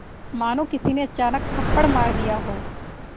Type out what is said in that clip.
मानो किसी ने अचानक थप्पड़ मार दिया हो